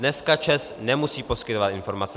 Dneska ČEZ nemusí poskytovat informace.